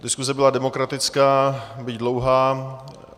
Diskuse byla demokratická, byť dlouhá.